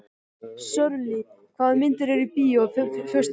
Sörli, hvaða myndir eru í bíó á föstudaginn?